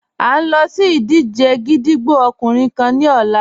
À n lọ sí ìdíjẹ̀ gídígbò ọkùnrin kán ni ọ̀là.